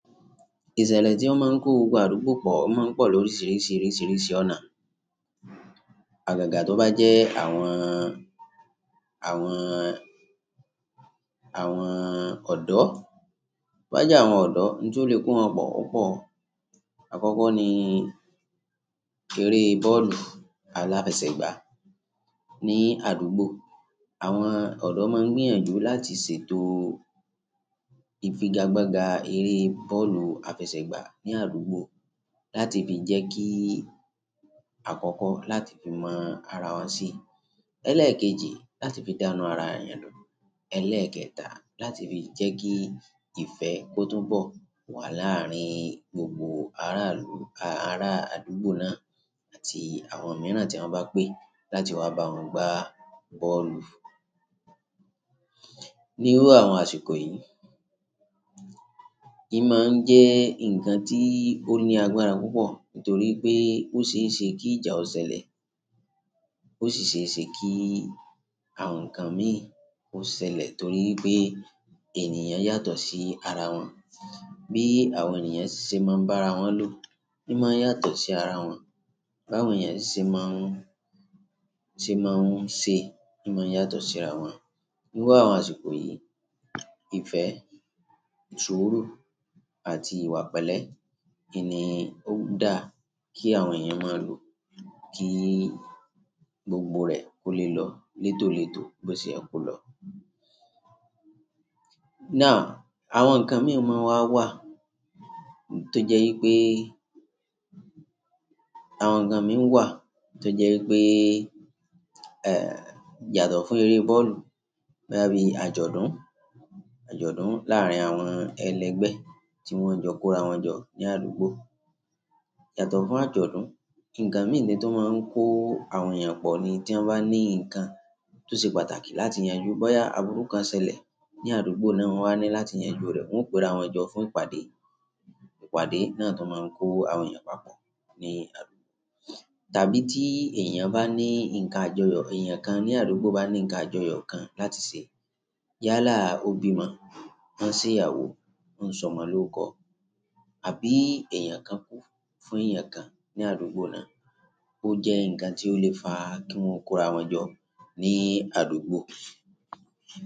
Ìṣẹ̀lẹ̀ tí ó máa ń kó gbogbo àdúgbò pọ̀ máa ń pọ̀ lórí oríṣìíríṣìí ọ̀nà. Àgàgà tó bá jẹ́ àwọn, àwọn, àwọn ọ̀dọ́, bá jẹ́ àwọn ọ̀dọ́ ni tó lè kó wọn pọ̀ opọ̀. Àkọ́kọ́ ni eré bọ́ọ̀lù aláfẹsẹ̀gbá ní àdúgbò. Àwọn ọ̀dọ́ máa ń gbìyànjú láti ṣètò ìfigagbága eré bọ́ọ̀lù afẹsẹ̀gbá ní àdúgbò láti fi jẹ́kí àkọ́kọ́ láti fi mọn ara wa sí, lẹ́lẹ́ẹ̀kejì láti fi dá inú ara èèyàn dùn, ẹlẹ́ẹ̀kẹta láti fi jẹ́kí ìfẹ́ kó tún bọ̀ wà láàrin gbogbo ará ìlú, a ará àdúgbò náà àti àwọn mìíràn tí wọ́n bá pé, láti wáá bá wọn gbá bọ́ọ̀lù ní irú àwọn àsìkò yìí íí máa ń jé nǹkan tí ó ní agbára púpọ̀, torí ó seése kí ìjà ó ṣẹlẹ̀, o sí ṣeéṣe kí àwọn nǹkan míì kó ṣẹlẹ̀, torí wípé ènìyàn yàtọ̀ sí ara wọn bí àwọn ènìyàn ṣe máa n bá ara wọn lò í máa n yàtọ̀ sí ara wọn, b'áwọn èèyàn sì ṣe máa ń ṣe maa n ṣe, í máa n yàtọ̀ sí ara wọn ní irú àwọn àsìkò yìí, ìfẹ́, súùrù àti ìwà pẹlẹ́ n ni ó dáa kí àwọn èèyàn máa lò kí gbogbo rẹ̀ kó lè lọ létólètó bó ṣe yẹ kó lọ. Náà àwọn ǹkan mìí máa wà wà tó jẹ́ wípé àwọn ǹkan mìí wà tó jẹ́ wípé, ẹ́, yàtọ̀ fún eré bọ́ọ̀lù bóyá bíi àjọ̀dún, àjọ̀dún láàárín àwọn ẹlẹgbẹ́ tí wọ́n jọ kórawọn jọ ní àdúgbò. Yàtọ̀ fún àjọ̀dún, ǹkan mìíràn ni tó máa ń kó àwọn èèyàn pọ̀ ni tí wọ́n bá ní ǹkan tó ṣe pàtàkì láti yanjú bóyá àbúrú kan ṣẹlẹ̀ ní àdúgbò náà wọ́n wáa ní láti yanjú rẹ̀, wọ́n ó o perawọn jọ fún ìpàdé, ìpàdé náà tún máa ń kó àwọn èèyàn papọ̀ ní àdúgbò. Tàbí tí èèyàn bá ní ǹkan àjọyọ̀, èèyàn kan ní àdúgbò bá ní ǹkan àjọyọ̀ kan láti ṣe, yálà ó bímọ, ó ń ṣe ìyàwó, ó ń sọmọ lọ́kọ̀ àbí èèyàn kan kú fún èèyàn kan ní àdúgbò náà, ó jẹ́ ǹkan tí ó lè fa kí wọ́n kórawọn jọ ní àdúgbò.